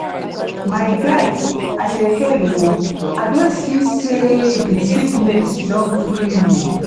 my guy i dey hail o i don see sey di sickness don free you